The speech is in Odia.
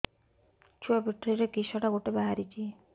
ଛୁଆ ପିଠିରେ କିଶଟା ଗୋଟେ ବାହାରିଛି